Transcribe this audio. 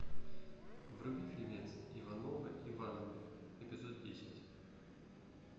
вруби фильмец ивановы ивановы эпизод десять